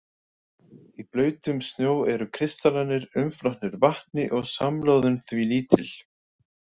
Í blautum snjó eru kristallarnir umflotnir vatni og samloðun því lítil.